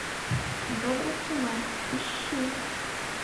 добрый сынок ищи